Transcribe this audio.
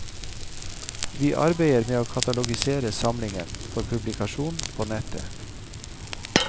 Vi arbeider med å katalogisere samlingen for publikasjon på nettet.